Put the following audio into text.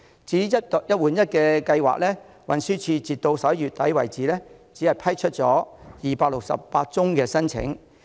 至於"一換一"計劃，運輸署截至11月只批出了268宗申請。